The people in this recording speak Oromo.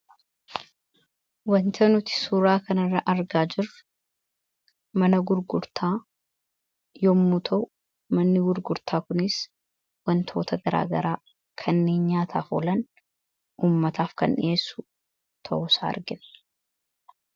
Wanta nuti suuraa kanarra argaa jirru mana gurgurtaa yommuu ta'u manni gurgurtaa kunis wantoota garaagaraa kanneen nyaataaf oolan ummataaf kan dhiheessu ta'uusa argina.